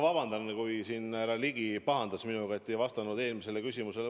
Vabandust, aga härra Ligi siin pahandas minuga, et ma ei vastanud eelmisele küsimusele.